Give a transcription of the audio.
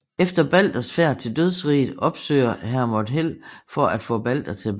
Efter Balders færd til dødsriget opsøger Hermod Hel for at få Balder tilbage